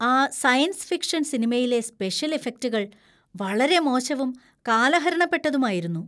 ആ science fiction സിനിമയിലെ special ഇഫക്റ്റുകൾ വളരെ മോശവും, കാലഹരണപ്പെട്ടതുമായിരുന്നു.